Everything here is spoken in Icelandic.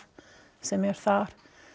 sem er þar